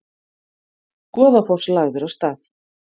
Goðafoss lagður af stað